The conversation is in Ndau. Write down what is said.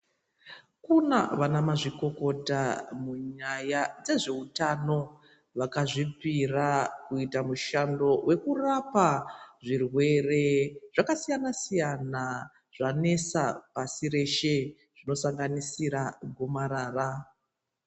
Kuna vanamazvikokota munyaya dzezveutano ,vakazvipira kuita mushando wekurapa, zvirwere zvakasiyana-siyana, zvanesa pashi reshe, zvinosanganisira gomarara.